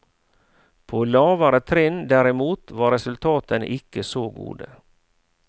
På lavere trinn, derimot, var resultatene ikke så gode.